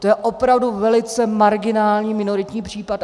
To je opravdu velice marginální, minoritní případ.